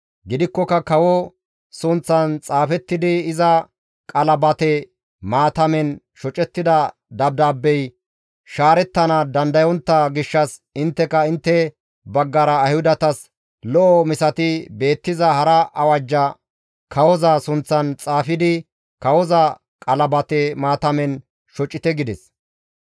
Gidikkoka kawo sunththan xaafettidi iza qalabate maatamen shocettida dabdaabbey shaarettana dandayontta gishshas intteka intte baggara Ayhudatas lo7o misati beettiza hara awajja kawoza sunththan xaafidi kawoza qalabate maatamen shocite» gides.